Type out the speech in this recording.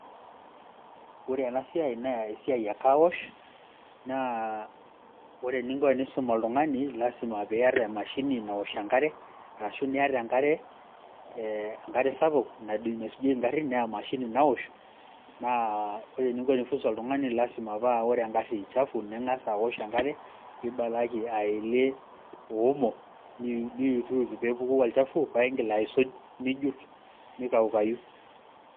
Ore ena siai naa esiai e carwash naa ore eninko esiisum oltung'ani naa lasima piata emashini naosh enkare arashu iata enkare ee enkare sapuk naisujieki ngarrin naa emashini naosh naa ore eninko pee [csfunza oltung'ani naa ore engarri chafu naa ing'as aosh enkare pee ibaraki aelie omo niyutuyut pee epuku olchafu niigil aisuj ai wipe.